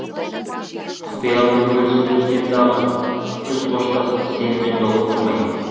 құпиямды бөлісіп жүрсем дағы күз қоштасты сенімен жолықтырмай